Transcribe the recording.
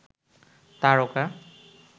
তারকা